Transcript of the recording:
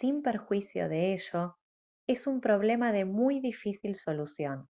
sin perjuicio de ello es un problema de muy difícil solución